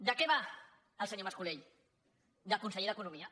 de què va el senyor mas colell de conseller d’economia